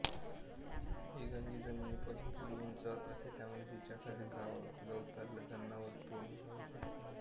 ही गंजी जमिनीपासून थोडी उंचावर असते त्यामुळे तिच्यातील गवताला जनावर तोंड लावू शकत नाहीत